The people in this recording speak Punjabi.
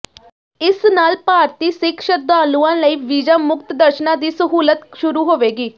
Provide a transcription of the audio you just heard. ਇਸ ਨਾਲ ਭਾਰਤੀ ਸਿੱਖ ਸ਼ਰਧਾਲੂਆਂ ਲਈ ਵੀਜ਼ਾ ਮੁਕਤ ਦਰਸ਼ਨਾਂ ਦੀ ਸਹੂਲਤ ਸ਼ੁਰੂ ਹੋਵੇਗੀ